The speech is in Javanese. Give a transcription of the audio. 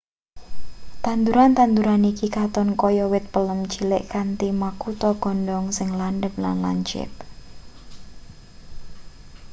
tanduran-tanduean iki katon kaya wit palem cilik kanthi makutha godhong sing landhep lan lancip